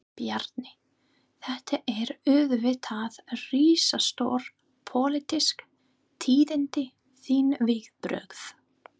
Bjarni, þetta eru auðvitað risastór, pólitísk tíðindi, þín viðbrögð?